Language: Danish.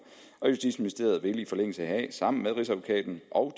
og justitsministeriet vil i forlængelse heraf sammen med rigsadvokaten og